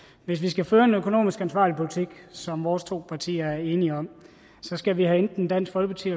hvis vi skal føre en økonomisk ansvarlig politik som vores to partier er enige om skal vi have enten dansk folkeparti